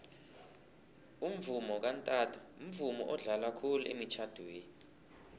umvomo kantanto mvumo odlalwa khulu emitjhadweni